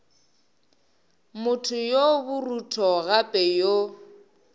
motho yo borutho gape yo